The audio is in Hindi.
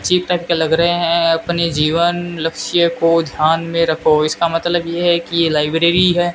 कट के लग रहे हैं अपने जीवन लक्ष्य को ध्यान में रखो इसका मतलब यह है की ये लाइब्रेरी है।